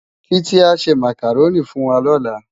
Titi á sè Mákáróni fúnwá lòlá